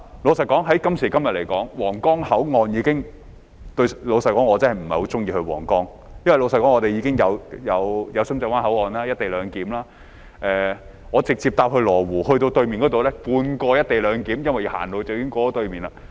老實說，在今時今日，皇崗口岸已......老實說，我真的不太喜歡前往皇崗，因為我們的深圳灣口岸已有"一地兩檢"；我直接乘車往羅湖過關，那裏有半個"一地兩檢"，因為走路已可以過到對面去。